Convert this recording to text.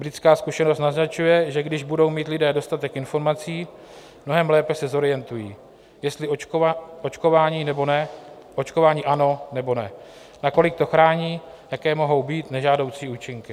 Britská zkušenost naznačuje, že když budou mít lidí dostatek informací, mnohem lépe se zorientují, jestli očkování, nebo ne, očkování ano, nebo ne, nakolik to chrání, jaké mohou být nežádoucí účinky.